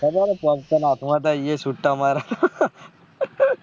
ખબર હે કોણ કોણ હાથ માં હતા એ સુટ્ટા મારવા માં